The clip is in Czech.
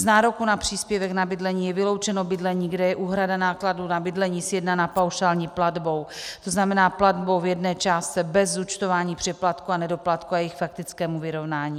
Z nároku na příspěvek na bydlení je vyloučeno bydlení, kde je úhrada nákladů na bydlení sjednaná paušální platbou, to znamená platbou v jedné částce bez zúčtování přeplatku a nedoplatku a jejich faktického vyrovnání.